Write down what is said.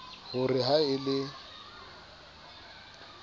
ho re ha e le